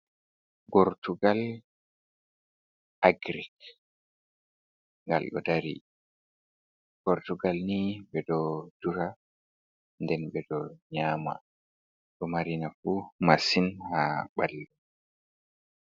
Gortugal agrik ngal ɗo dari, gortugal ni ɓeɗo dura, nden ɓeɗo nyama, ɗo mari nafu masin ha ɓalli.